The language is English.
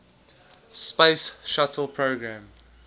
space shuttle program